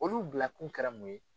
Olu bila kun kɛra mun ye?